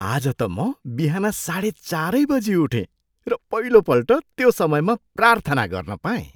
आज त म बिहान साढे चारै बजी उठेँ र पहिलोपल्ट त्यो समयमा प्रार्थना गर्न पाएँ।